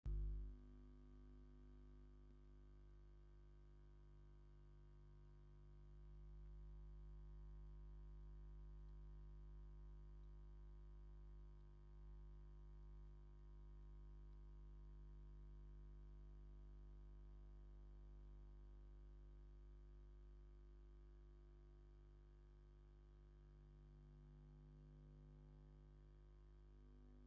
ዕዳጋ ጥሪት ወይ ዕዳጋ ጥሪት ኣብ ኢትዮጵያ። ኣብ ትሕቲ ካንቫስ ናሕሲ ዝተወደበ ቦታ ኮይኑ፡ ከብቲ ብሓጺናዊ ሓጹር ተፈላልየን ኣለዋ። ንንግዲ እንስሳታት ወይ ንመደባት ምርባሕ ክውዕል ይኽእል። ኣብዚ ዕዳጋ ዝሽየጣ ከብቲ ብቐንዱ ንጸባ ንምፍራይ ድየን ወይስ ንስጋ?